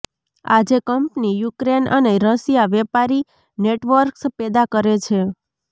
આજે company Ukraine અને Russia વેપારી નેટવર્ક્સ પેદા કરે છે